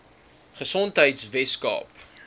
gesondheidweskaap